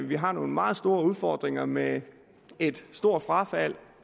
vi har nogle meget store udfordringer med et stort frafald